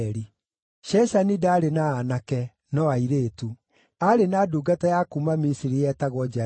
Sheshani ndaarĩ na aanake, no airĩtu. Aarĩ na ndungata ya kuuma Misiri yetagwo Jariha.